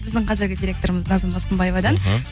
біздің қазіргі директорымыз назым досқынбаевадан